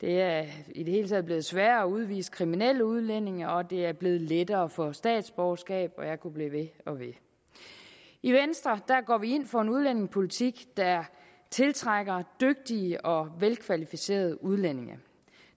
det er i det hele taget blevet sværere at udvise kriminelle udlændinge og det er blevet lettere at få statsborgerskab og jeg kunne blive ved og ved i venstre går vi ind for en udlændingepolitik der tiltrækker dygtige og velkvalificerede udlændinge